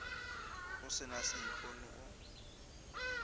o se na seipone o